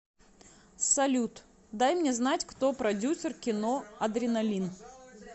салют даи мне знать кто продюсер кино адреналин